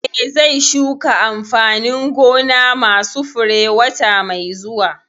Eh, zai shuka amfanin gona ma su fure wata mai zuwa